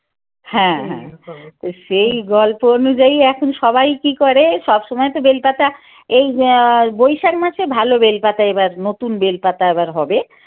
হ্যাঁ হ্যাঁ সেই গল্প অনুযায়ী এখন সবাই কী করে সব সময় তো বেল পাতা এই ধর বৈশাখ মাসে ভাল বেল পাতা এইবার নতুন বেল পাতা এবার হবে।